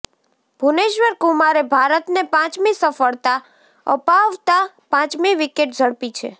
ભૂવનેશ્વર કુમારે ભારતને પાંચમી સફળતા અપાવતા પાંચમી વિકેટ ઝડપી છે